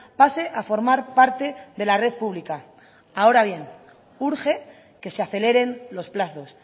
pase a formar parte de la red pública ahora bien urge que se aceleren los plazos